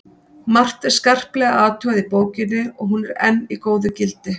Margt er skarplega athugað í bókinni og hún er enn í góðu gildi.